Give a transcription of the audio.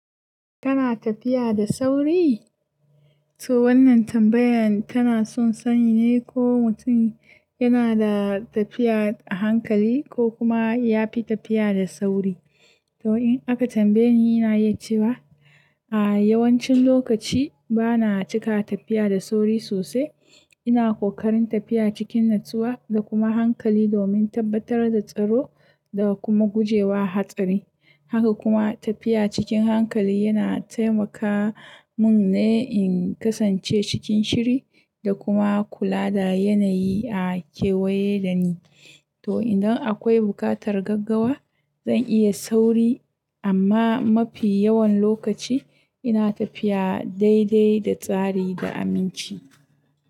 Kana tafiya da sauri? To wannan tambayan tana son sani ne ko mutum yana da tafiya a hankali ko kuma ya fi tafiya da sauri. To in aka tambaye ni, ina yi cewa a yawancin lokaci bana cika tafiya da sauri sosai. Ina kokarin tafiya cikin natsuwa da kuma hankali domin tabbatar da tsaro da kuma guje wa hatsari. Haka kuma tafiya cikin hankali yana taimaka mun ne in kasance cikin shiri da kuma kula da yanayi a kewaye da ni. To idan akwai bukatar gaggawa, zan iya sauri amma mafi yawan lokaci ina tafiya daidai da tsari da aminci.